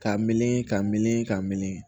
Ka mili ka mili ka mili